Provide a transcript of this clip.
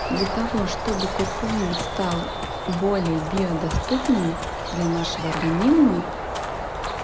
для того чтобы куркумин стал более биодоступным для нашего организма